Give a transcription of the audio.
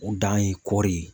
O dan ye kɔɔri ye.